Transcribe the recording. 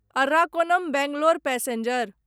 Arakkonam Bangalore passenger